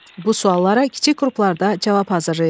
Bu suallara kiçik qruplarda cavab hazırlayın.